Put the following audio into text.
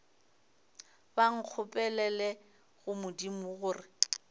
ba nkgopelele go modimo gore